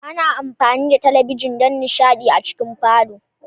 Ana amfani da talabijin don nishaɗi a cikin falo.